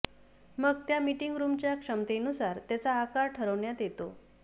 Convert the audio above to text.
मग त्या मीटिंग रूमच्या क्षमतेनुसार त्याचा आकार ठरवण्यात येतो